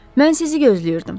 Mən sizi gözləyirdim.